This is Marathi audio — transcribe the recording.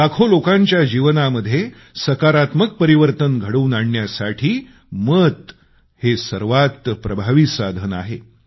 लाखो लोकांच्या जीवनामध्ये सकारात्मक परिवर्तन घडवून आणण्यासाठी मत हे सर्वात प्रभावी साधन आहे